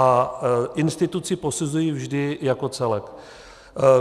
A instituci posuzuji vždy jako celek.